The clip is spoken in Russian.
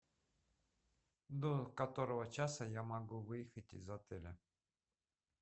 до которого часа я могу выехать из отеля